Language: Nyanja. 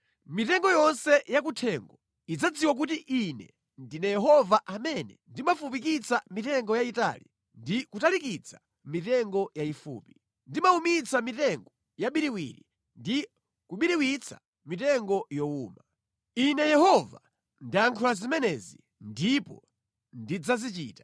Mitengo yonse yakuthengo idzadziwa kuti Ine ndine Yehova amene ndimafupikitsa mitengo yayitali ndi kutalikitsa mitengo yayifupi. Ndimawumitsa mitengo yabiriwiri ndi kubiriwitsa mitengo yowuma. “ ‘Ine Yehova ndayankhula zimenezi, ndipo ndidzazichita.’ ”